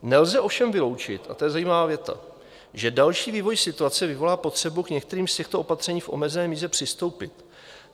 Nelze ovšem vyloučit, a to je zajímavá věta, že další vývoj situace vyvolá potřebu k některým z těchto opatření v omezené míře přistoupit.